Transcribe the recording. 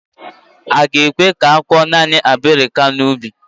A ga-ekwe ka i kụọ naanị abirika n'ubi.